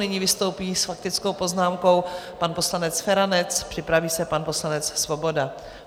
Nyní vystoupí s faktickou poznámkou pan poslanec Feranec, připraví se pan poslanec Svoboda.